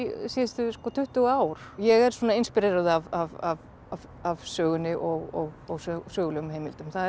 síðustu tuttugu ár ég er svona inspíreruð af sögunni og og sögulegum heimildum það er